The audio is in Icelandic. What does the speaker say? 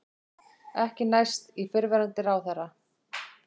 Ekki næst í fyrrverandi ráðherra